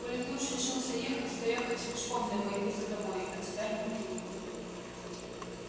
коли ты уж решился ехать то я хоть пешком да пойду за тобой а тебя не покину